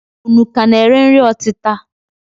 Unu ka na-ere nri ọtịta?